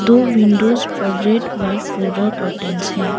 दो विंडोज पर red white floral curtain है।